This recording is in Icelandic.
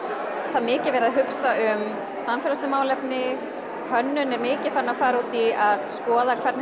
það er mikið verið að hugsa um samfélagsleg málefni hönnun er mikið farin að fara út í að skoða hvernig